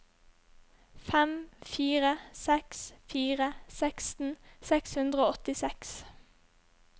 fem fire seks fire seksten seks hundre og åttiseks